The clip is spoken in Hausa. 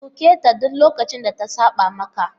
Duketa duk lokacin da ta saba maka!